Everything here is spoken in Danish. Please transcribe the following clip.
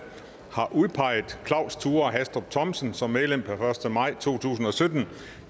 har udpeget claus thure hastrup thomsen som medlem per første maj to tusind og sytten